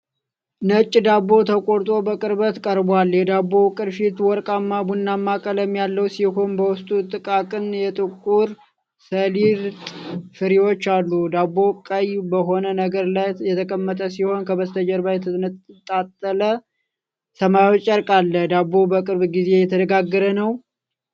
ነጭ ዳቦ ተቆርጦ በቅርበት ቀርቧል። የዳቦው ቅርፊት ወርቃማ ቡናማ ቀለም ያለው ሲሆን በውስጡ ጥቃቅን የጥቁር ሰሊጥ ፍሬዎች አሉ። ዳቦው ቀይ በሆነ ነገር ላይ የተቀመጠ ሲሆን ከበስተጀርባ የተንጣለለ ሰማያዊ ጨርቅ አለ። ዳቦው በቅርብ ጊዜ የተጋገረ ነው?